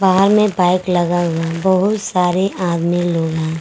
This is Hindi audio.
बाहर में बाइक लगा हुआ है बहुत सारे आदमी लोग हैं।